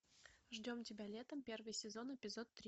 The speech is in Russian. ждем тебя летом первый сезон эпизод три